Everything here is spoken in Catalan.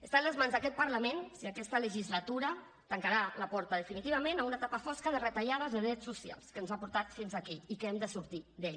està en les mans d’aquest parlament si aquesta legislatura tancarà la porta definitivament a una etapa fosca de retallades de drets socials que ens ha portat fins aquí i que hem de sortir ne